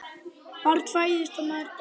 Barn fæðist og maður deyr.